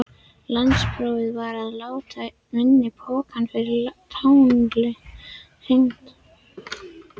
Landsprófið varð að láta í minni pokann fyrir táli hringiðunnar.